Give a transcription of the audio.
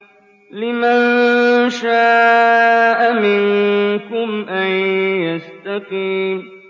لِمَن شَاءَ مِنكُمْ أَن يَسْتَقِيمَ